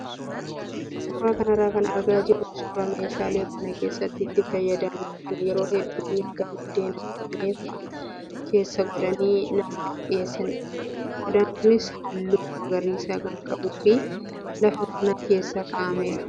Suuraa kanarraa kan argaa jirru suuraa meeshaa mana keessatti itti fayyadamnu kan yeroo hedduu nyaata buddeena murame fa'aa keessa godhanii namaaf dhiyeessanidha. Qodaan kunis halluu magariisa kan qabuu fi lafa mana keessa kaa'ameera.